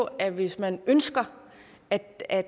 at hvis man ønsker at at